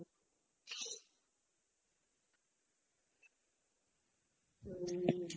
হুম।